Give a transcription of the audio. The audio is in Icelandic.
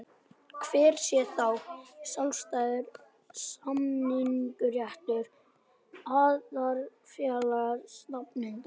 Hver sé þá sjálfstæður samningsréttur aðildarfélaga stefnanda?